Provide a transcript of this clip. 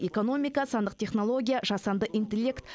экономика сандық технология жасанды интеллект